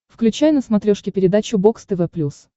включай на смотрешке передачу бокс тв плюс